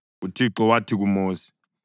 UThixo wathi kuMosi,